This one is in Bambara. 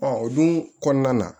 o dun kɔnɔna na